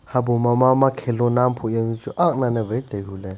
habo ma mama khilona buyaw chu ak lan ne wai taihu ley.